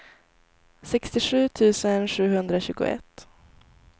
sextiosju tusen sjuhundratjugoett